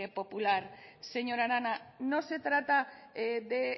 popular señora arana